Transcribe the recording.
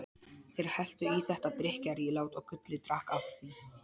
Þeir helltu í þetta drykkjarílát og Gulli drakk af því.